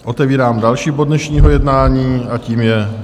Otevírám další bod dnešního jednání a tím je